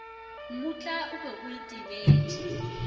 mmutla o be a itebetše